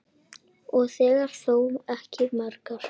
Ég þekki þó ekki margar.